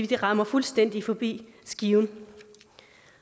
det rammer fuldstændig forbi skiven